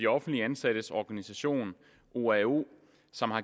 offentligt ansattes organisationer oao som har